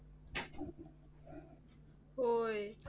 होय.